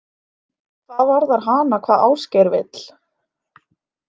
Hvað varðar hana hvað Ásgeir vill?